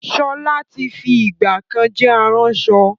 Ṣọlá tí fi ìgbàkan jẹ́ aránṣọ